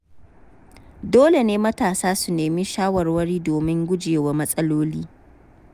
Dole ne matasa su nemi shawarwari domin gujewa matsaloli.